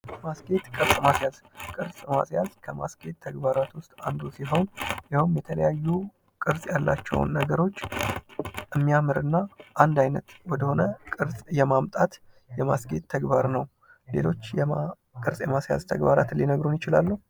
ማስጌጥ ቅርፅ ማዝያዝ:- ቅርፅ ማስያዝ ከማስጌጥ ተግባራት ዉስጥ አንዱ ሲሆን ይሄዉም የተለያዩ ቅርፅ ያላቸዉን ነገሮች የሚያምር እና አንድ አይነት ወደ ሆነ ቅርፅ የማምጣት የማስጌጥ ተግባር ነዉ። ሌሎች ቅርፅ የማስያዝ ተግባራትን ሊነግሩን ይችላሉ?